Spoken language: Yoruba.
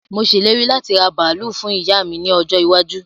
Mo ṣe ìlérí láti raa bàálù fún ìyá mi ní ọjọ́ iwájú